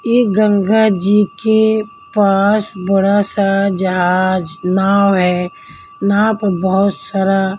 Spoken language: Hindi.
ये गंगा जी के पास बड़ा सा जहाज नाव है नाव पर बहुत सारा--